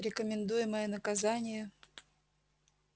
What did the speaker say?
рекомендуемое наказание